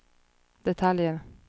detaljer